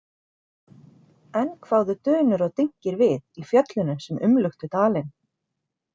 Enn kváðu dunur og dynkir við í fjöllunum sem umluktu dalinn.